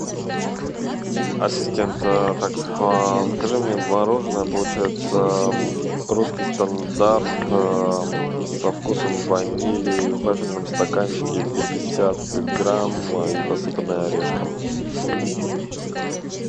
ассистент так закажи мне мороженое получается русский стандарт со вкусом ванили в вафельном стаканчике пятьдесят грамм и посыпанное орешком